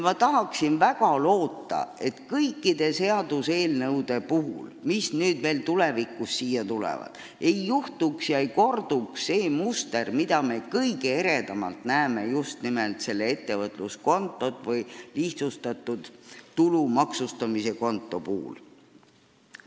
Ma tahaksin väga loota, et kõikide seaduseelnõude puhul, mis tulevikus veel siia tulevad, ei kordu see muster, mida me kõige eredamalt näeme just nimelt selle ettevõtluskonto või lihtsustatud tulumaksustamise puhul.